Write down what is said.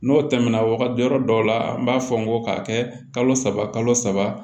N'o tɛmɛna wagati yɔrɔ dɔw la an b'a fɔ n ko k'a kɛ kalo saba kalo saba